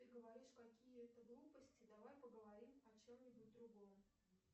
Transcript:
ты говоришь какие то глупости давай поговорим о чем нибудь другом